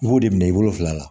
I b'o de minɛ i bolo fila la